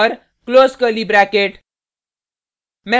close curly bracket